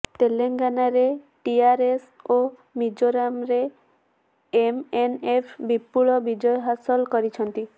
ତେଲେଙ୍ଗାନାରେ ଟିଆର୍ଏସ୍ ଓ ମିଜୋରାମରେ ଏମ୍ଏନ୍ଏଫ୍ ବିପୁଳ ବିଜୟ ହାସଲ କରିଛନ୍ତି